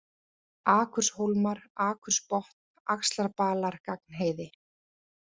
Akurshólmar, Akursbotn, Axlarbalar, Gagnheiði